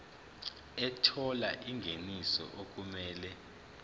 ethola ingeniso okumele